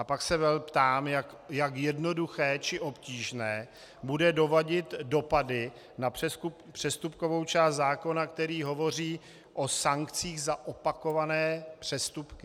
A pak se ptám, jak jednoduché či obtížné bude doladit dopady na přestupkovou část zákona, který hovoří o sankcích za opakované přestupky.